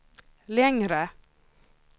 längre